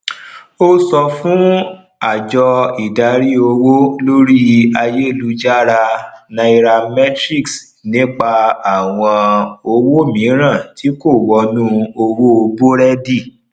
o sọ fún àjọ ìdarí owó lórí ayelujara nairametrics nípa àwọn owó miran ti kò wọnú owo burẹdi